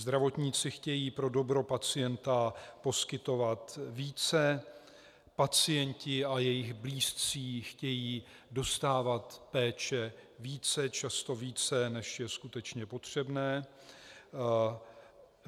Zdravotníci chtějí pro dobro pacienta poskytovat více, pacienti a jejich blízcí chtějí dostávat péče více, často více, než je skutečně potřebné.